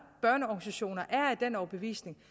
børneorganisationer er af den overbevisning